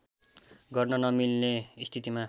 गर्न नमिल्ने स्थितिमा